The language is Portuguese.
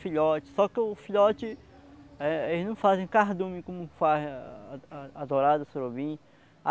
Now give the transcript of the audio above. filhote. Só que o filhote, é eles não fazem cardume como fazem a a a as dourada, surubim.